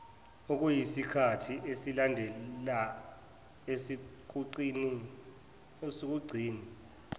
okuyisikhathi esilandela esokugcina